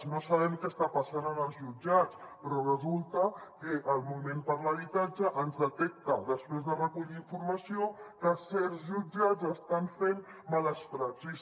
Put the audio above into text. no sabem què està passant en els jutjats però resulta que el moviment per l’habitatge ens detecta després de recollir informació que certs jutjats estan fent males praxis